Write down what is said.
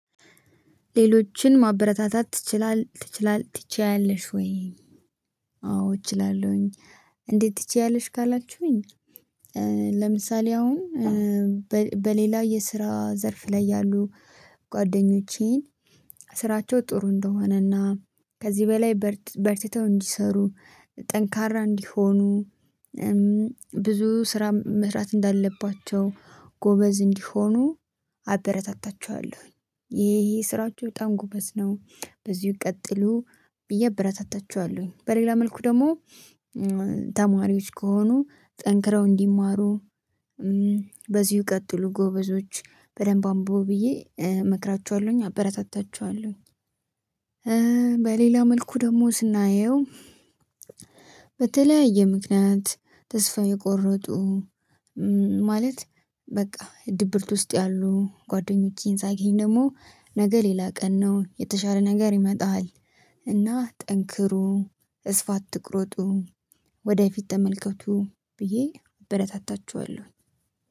ሌሎችን ማበረታታት ትችላለህ ትችላለህ ትችያለሽ ወይ? አዎ እችላለሁኝ። እንዴት ትችያለሽ ካላችሁኝ? ለምሳሌ አሁን በሌላ የስራ ዘርፍ ላይ ያሉ ጓደኞቼን ስራቸው ጥሩ እንደሆነና ከዚህ በላይ በርትተው እንዲሰሩ ጠንካራ እንዲሆኑ ብዙ ስራ ምህረት እንዳለባቸው ጎበዝ እንዲሆኑ አደረታታቸዋለሁኝ ይሄ ይሄ ስራቸው በጣም ጉበዝ ነው በዚሁ ቀጥሉ ብዬ አበረታታችኋለሁኝ። በሌላ መልኩ ደግሞ ከሆኑ ጠንክረው እንዲማሩ በዚሁ ቀጥሉ ጎበዞች በደንብ አንብቡ ብዬ እመክራችኋለሁኝ አበረታታችኋለሁኝ። በሌላ መልኩ ደግሞ ስናየው በተለያየ ምክንያት ተስፋ የቆረጡ ማለት በቃ ድብርት ውስጥ ያሉ ጓደኞቼን ሳይገኝ ደግሞ ነገ ሌላ ቀን ነው የተሻለ ነገር ይመጣል። እና ጠንክሩ ተስፋ አትቁረጡ ወደፊት ተመልከቱ ብዬ በረታታችኋለሁኝ